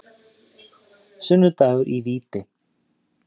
Sunnudagur í víti.